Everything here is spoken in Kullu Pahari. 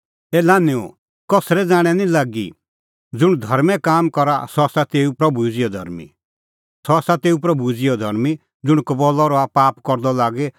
ए लान्हैंओ कसरै ज़ाणैं निं लागी ज़ुंण धर्में काम करा सह आसा तेऊ प्रभू ई ज़िहअ धर्मीं